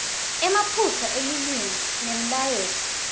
emaphutsa elulwimi nemlayeto